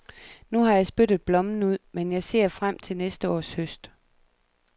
Nu har jeg spyttet blommen ud, men jeg ser frem til næste års høst.